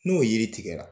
N'o yiri tigɛra